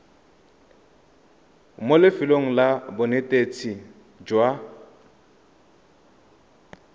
mo lefelong la bonetetshi jwa